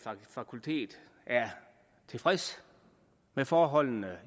fakultet er tilfreds med forholdene